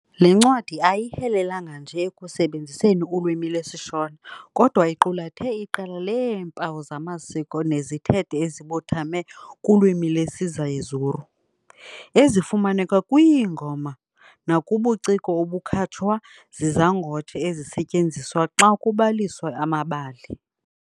Le ncwadi ayihelelanga nje ekusebenziseni ulwimi lwesiShona, kodwa iqulathe iqela leempawu zamasiko nezithethe ezibuthame kulwimi lwesiZezuru, ezifumaneka kwiingoma, nakubuciko obukhatshwa zizangotshe ezisetyenziswa xa kubaliswa amabali.